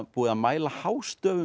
búið að mæla hástöfum